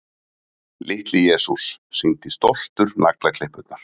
Litli-Jesús sýndi stoltur naglaklippurnar.